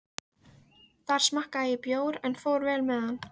Þar smakkaði ég bjór en fór vel með hann.